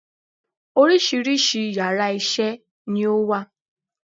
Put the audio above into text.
Oríṣiríṣi yàrá isé ni ó wà